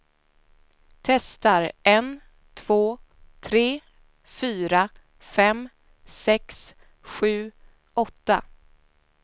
Testar en två tre fyra fem sex sju åtta.